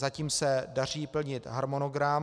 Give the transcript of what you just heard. Zatím se daří plnit harmonogram.